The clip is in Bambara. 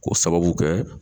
K'o sababu kɛ